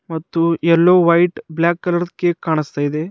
ಮತ್ತು ಎಲ್ಲೋ white black colour cake ಕಾಣಿಸ್ತಾದೆ.